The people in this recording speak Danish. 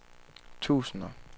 tusinder